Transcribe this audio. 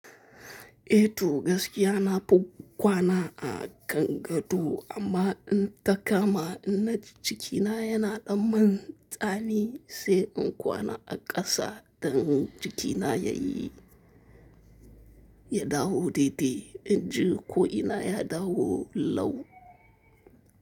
Eh to, gaskiya nafi kwana a kan gado amma in ta kama inna ji jikina yana ɗan man tsami sai in kwana a ƙasa don jikina yayi, ya dawo daidai. In ji ko ina ya dawo lau.